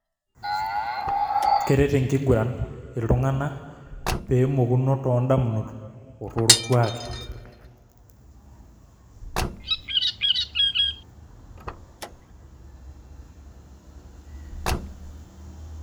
Keret enkiguran ltunganak pemokuno tondamunot otorkuaki[break]